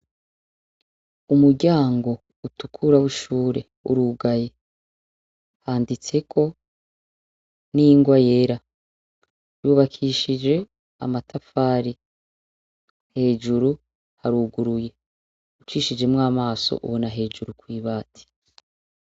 Umuryango utukura w'ishure urugaye. Handitseko n'ingwa yera. Yubakishije amatafari. Hejuru haruguruye. Ucishijemwo amaso ubona hejuru kw'ibati.